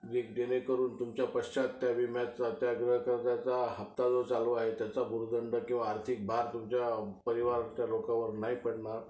जेणेकरून तुमच्या पश्चात त्या विम्याचा त्या गृहकर्जाचा जो हफ्ता चालू आहे त्याचा भुर्दंड किंवा आर्थिक भर तुमच्या परिवाराच्या लोकांवर नाही पडणार.